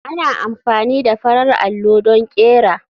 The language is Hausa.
Ana amfani da farar allo don ƙera.